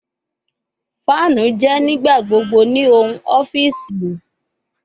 Fanu jẹ nigbagbogbo ni ohun ọfiisi